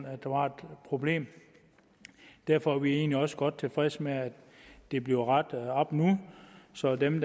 at der var et problem derfor er vi egentlig også godt tilfredse med at det bliver rettet op nu så dem